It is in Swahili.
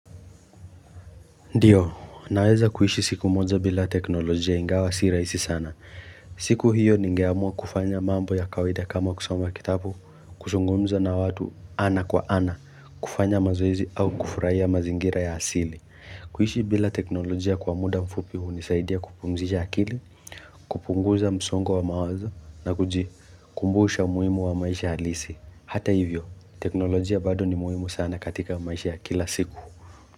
Ndio, naweza kuishi siku moja bila teknolojia ingawa si raisi sana. Siku hiyo ningeamua kufanya mambo ya kawaida kama kusoma kitapu, kusungumza na watu ana kwa ana, kufanya mazoezi au kufurahia mazingira ya asili. Kuishi bila teknolojia kwa muda mfupi unisaidia kupumzisha akili, kupunguza msongo wa mawazo na kujikumbusha umuhimu wa maisha halisi. Hata hivyo, teknolojia bado ni muhimu sana katika maisha ya kila siku.